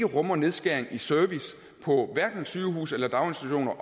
rummer nedskæringer i service på sygehuse eller daginstitutioner